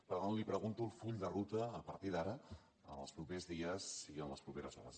per tant li pregunto el full de ruta a partir d’ara en els propers dies i en les properes hores